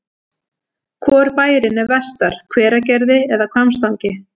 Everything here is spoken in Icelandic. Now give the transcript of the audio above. Hvor bærinn er vestar, Hveragerði eða Hvammstangi?